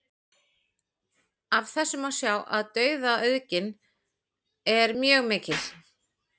Af þessu má sjá að tegundaauðgin er mjög mikil.